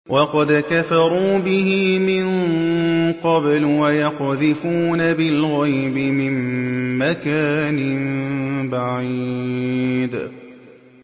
وَقَدْ كَفَرُوا بِهِ مِن قَبْلُ ۖ وَيَقْذِفُونَ بِالْغَيْبِ مِن مَّكَانٍ بَعِيدٍ